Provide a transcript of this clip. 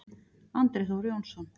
Andri Þór Jónsson